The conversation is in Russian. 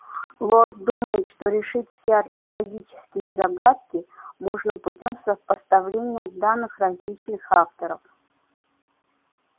лорд думает что решить все археологические загадки можно путём сопоставления данных различных авторов